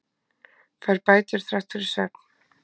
Fær bætur þrátt fyrir svefn